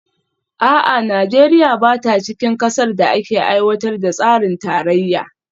A'a, Najeriya ba ta cikin kasar da ake aiwatar da tsarin tarayya?